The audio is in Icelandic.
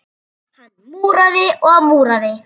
Hann múraði og múraði.